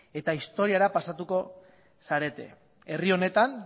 eta historiara pasatuko zarete herri honetan